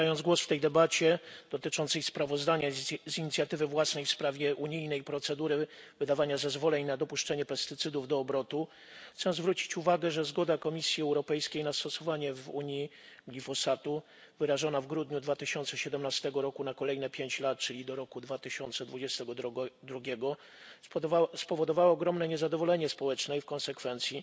Zabierając głos w tej debacie dotyczącej sprawozdania z inicjatywy własnej w sprawie unijnej procedury wydawania zezwoleń na dopuszczenie pestycydów do obrotu, trzeba zwrócić uwagę na to, że zgoda Komisji Europejskiej na stosowanie w Unii glifosatu, wyrażona w grudniu 2017 roku na kolejne pięć lat, czyli do 2022 roku, spowodowała ogromne niezadowolenie społeczne i w konsekwencji